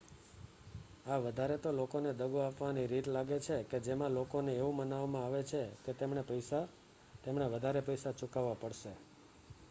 આ વધારે તો લોકોને દગો આપવાની રીત લાગે છે કે જેમાં લોકો ને એવું મનાવવામાં આવે છે કે તેમણે વધારે પૈસા ચૂકવવા પડશે